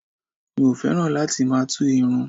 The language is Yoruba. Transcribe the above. Mi ò fẹ́ràn láti máa tú irun